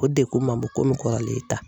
O degun ma bon komi kɔrɔlen ta.